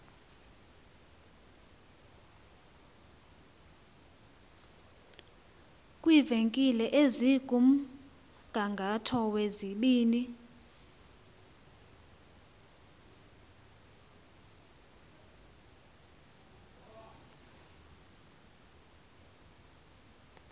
kwiivenkile ezikumgangatho wezibini